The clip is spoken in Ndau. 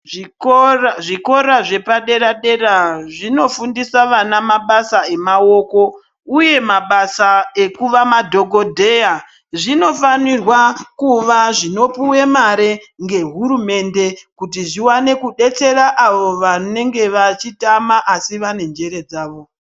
Zvikora zvikora zvepadera-dera zvinofundisa vana mabasa emaoko, uye mabasa ekuva madhokodheya. Zvinofanirwa kuva zvinopuwe mare ngehurumende, kuti zviwane kudetsera avo vanenge vachitama, asi vane njere dzavo.